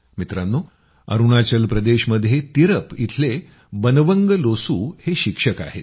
मित्रांनो अरूणाचल प्रदेशमध्ये तिरप इथले बनवंग लोसू हे शिक्षक आहेत